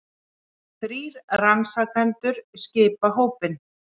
Þrír rannsakendur skipa hópinn